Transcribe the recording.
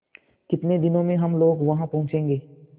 कितने दिनों में हम लोग वहाँ पहुँचेंगे